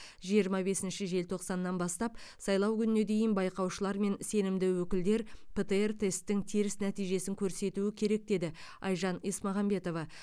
жиырма бесінші желтоқсаннан бастап сайлау күніне дейін байқаушылар мен сенімді өкілдер птр тесттің теріс нәтижесін көрсетуі керек деді айжан есмағамбетова